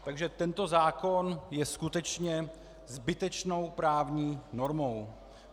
Takže tento zákon je skutečně zbytečnou právní normou.